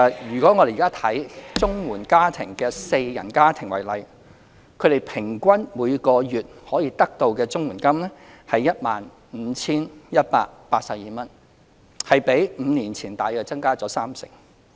以綜援四人家庭為例，他們平均每月可得的綜援金為 15,182 元，比5年前增加約三成。